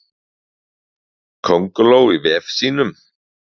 Könguló í vef sínum.